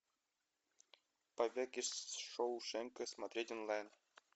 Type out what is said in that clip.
побег из шоушенка смотреть онлайн